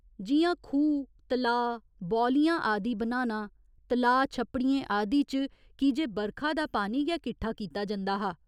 जि'यां खूह्, तलाऽ, बौलियां आदि बनाना, तलाऽ छप्पड़ियें आदि च की जे बरखा दा पानी गै किट्ठा कीता जंदा हा।